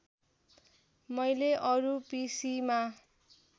मैले अरू पिसिमा